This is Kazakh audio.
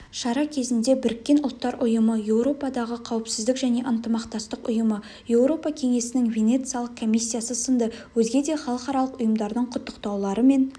шара кезінде біріккен ұлттар ұйымы еуропадағы қауіпсіздік және ынтымақтастық ұйымы еуропа кеңесінің венециялық комиссиясы сынды өзге де халықаралық ұйымдардың құттықтаулары мен